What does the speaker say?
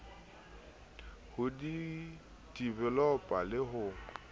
ho di developer le ho